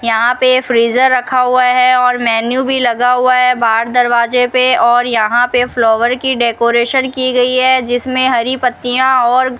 यहां पे फ्रीजर रखा हुआ है और मेनू भी लगा हुआ है बाहर दरवाजे पे और यहां पे फ्लावर की डेकोरेशन की गई है जिसमें हरी पत्तियां और --